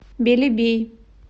белебей